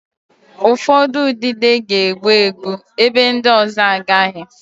Ụfọdụ udide ga-egbu egbu, ebe ndị ọzọ agaghị